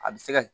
A bɛ se ka